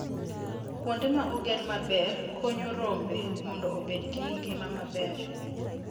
Kuonde ma oger maber konyo rombe mondo obed gi ngima maber.